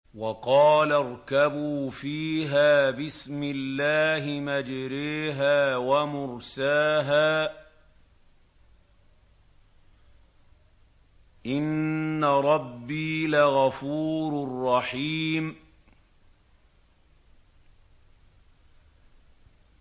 ۞ وَقَالَ ارْكَبُوا فِيهَا بِسْمِ اللَّهِ مَجْرَاهَا وَمُرْسَاهَا ۚ إِنَّ رَبِّي لَغَفُورٌ رَّحِيمٌ